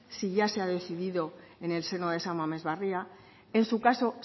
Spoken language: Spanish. si ya se ha decidido en el seno de san mamés barria en su caso